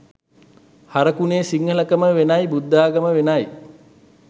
හරකුනේ සිංහල කම වෙනයි බුද්ධාගම වෙනයි.